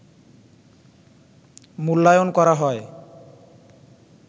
মূল্যায়ন করা হয়